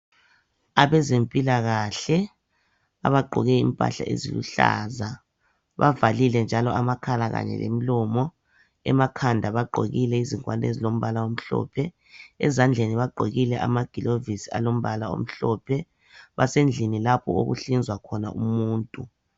Abazempilakahle abagqoke impahla eziluhlaza , bavalile amakhala kanye lemlomo , emakhanda bagqokile ingowani ezilombala omhlophe , ezandleni bagqokile ama glovisi alombala omhlophe , basendlini lapho okuhlinzwa khona abantu